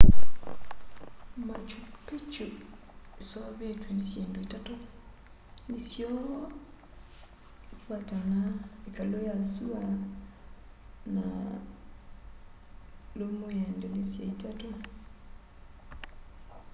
machu picchu iseuvitw'e ni syindu itatu nisyo intihuatana ikalu ya sua na lumu ya ndilisya itatu